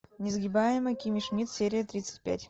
несгибаемая кимми шмидт серия тридцать пять